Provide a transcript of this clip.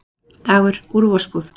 Dagur: Úr vosbúð?